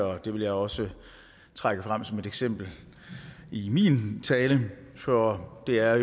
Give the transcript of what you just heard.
og det vil jeg også trække frem som et eksempel i min tale for det er